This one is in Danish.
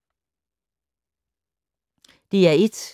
DR1